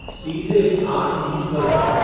सीधे आठ बीस पर जाओ